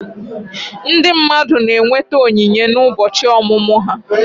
Ndị mmadụ na-enweta onyinye n'ụbọchị ọmụmụ ha